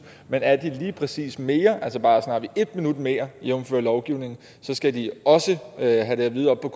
men er det lige præcis mere altså bare en minut mere jævnfør lovgivningen så skal de også have det at vide oppe